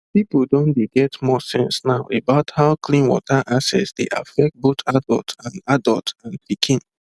people don dey get more sense now about how clean water access dey affect both adult and adult and pikin